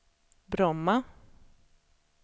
Bromma